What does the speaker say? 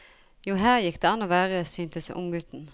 Jo, her gikk det an å være, syntes unggutten.